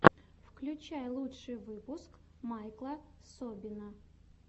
включай лучший выпуск майкла собина